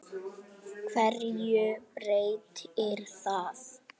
HVERJU BREYTIR ÞAÐ?